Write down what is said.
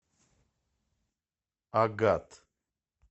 агат